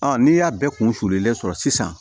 n'i y'a bɛɛ kun sululen sɔrɔ sisan